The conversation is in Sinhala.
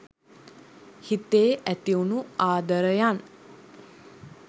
හිතේ ඇතිවුණු ආදරයන්